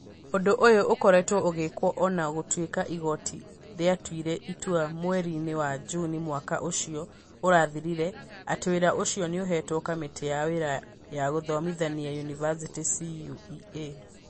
Ũndũ ũyũ ũkoretwo ũgĩkwo o na gũtuĩka igooti rĩatuire itua mweri-inĩ wa Juni mwaka ũcio ũrathirire, atĩ wĩra ũcio nĩ ũheetwo Kamĩtĩ ya Wĩra wa Gũthomithia Yunivasĩtĩ CũE.